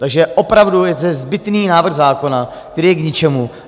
Takže opravdu je zde zbytný návrh zákona, který je k ničemu.